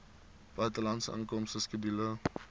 buitelandse inkomste skedule